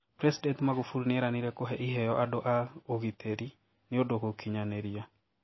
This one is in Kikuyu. President Magufuli nieranerie kũhee iheo andũ aa ũgiteri niundũ gũkinyaniria